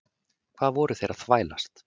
Hvað voru þeir að þvælast?